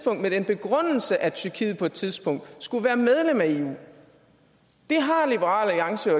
med den begrundelse at tyrkiet på et tidspunkt skulle være medlem af eu liberal alliance